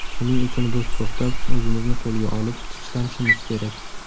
Shuning uchun biz to‘xtab, o‘zimizni qo‘lga olib, tinchlanishimiz kerak.